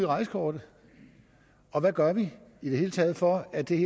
rejsekortet og hvad gør vi i det hele taget for at det